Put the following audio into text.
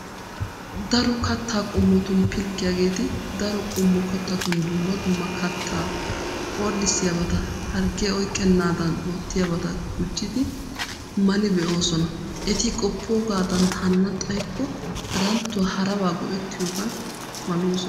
Daro kattaa qommotun pilggiyaageeti daro qommo kattatun dumma dumma kattaa orddissiyaabaata harggee oyqqennaadan oottiyaabata gujjidi mali be'oosona. Eti qoppoogaadan hanana xaykko haranttuwa harabaa go"ettiyoogan maloosona.